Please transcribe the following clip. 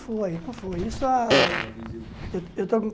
Foi foi isso há eu eu